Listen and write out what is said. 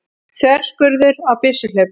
Þverskurður á byssuhlaupum.